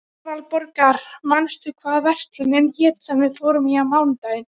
Aðalborgar, manstu hvað verslunin hét sem við fórum í á mánudaginn?